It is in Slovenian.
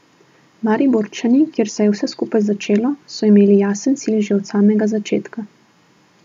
Mariborčani, kjer se je vse skupaj začelo, so imeli jasen cilj že od samega začetka.